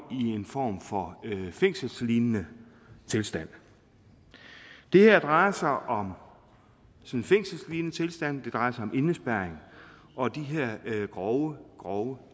i en form for fængselslignende tilstand det her drejer sig om en fængselslignende tilstand det drejer sig om indespærring og de her grove grove